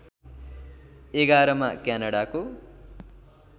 ११ मा क्यानडाको